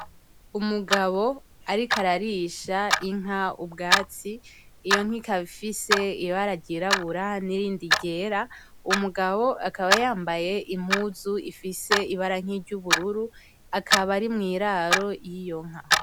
Umugabo ariko ararisha inka ubwatsi. Iyo nka ikaba ifise ibara ryirabura n’irindi ryera, uwo mugabo akaba yambaye impuzu ifise ibara nk’iryubururu akaba ari mw’iraro y’iyo nka.